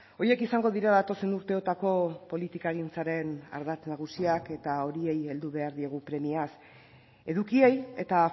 horiek izango dira datozen urteotako politikagintzaren ardatz nagusiak eta horiei heldu behar diegu premiaz edukiei eta